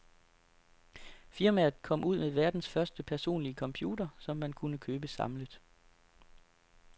Firmaet kom ud med verdens første personlige computer, som man kunne købe samlet.